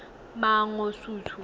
mangosuthu